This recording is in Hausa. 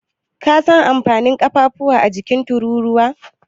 Ka san amfanin ƙafafuwa a jikin Tururuwa?